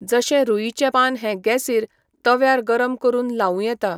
जशें रुइचें पान हें गेसीर, तव्यार गरम करून लावूं येता.